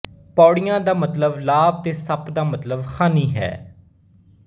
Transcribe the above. ਪੌੜੀਆਂ ਦਾ ਮਤਲਵ ਲਾਭ ਤੇ ਸੱਪ ਦਾ ਮਤਲਵ ਹਾਨੀ ਹੈ